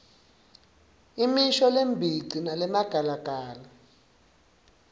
imisho lembici nalemagalagala